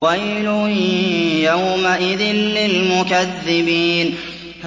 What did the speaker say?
وَيْلٌ يَوْمَئِذٍ لِّلْمُكَذِّبِينَ